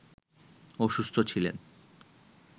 অসুস্থ ছিলেন